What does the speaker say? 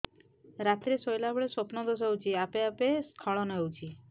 ରାତିରେ ଶୋଇଲା ବେଳେ ସ୍ବପ୍ନ ଦୋଷ ହେଉଛି ଆପେ ଆପେ ସ୍ଖଳନ ହେଇଯାଉଛି